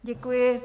Děkuji.